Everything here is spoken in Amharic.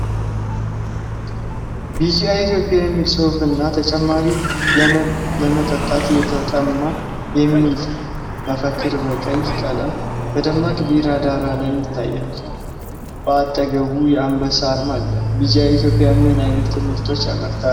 ቢጂአይ ኢትዮጵያ የሚል ጽሑፍ እና "ተጨማሪ ለመጠጣት የተጠማ" የሚል መፈክር በቀይ ቀለም በደማቅ ቢጫ ዳራ ላይ ይታያል፤ በአጠገቡም የአንበሳ አርማ አለ። ቢጂአይ ኢትዮጵያ ምን ዓይነት ምርቶችን ያመርታል?